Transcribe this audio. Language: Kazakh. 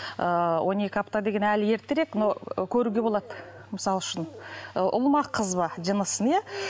ыыы он екі апта деген әлі ертерек но көруге болады мысалы үшін ы ұл ма қыз ба жынысын иә